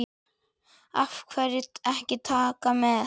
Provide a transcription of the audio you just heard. Af hverju ekki Taka með?